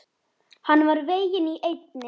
Hann var veginn í eynni.